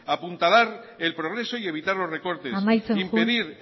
apuntalar el progreso y evitar los recortes amaitzen joan impedir